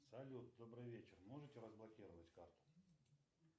салют добрый вечер можете разблокировать карту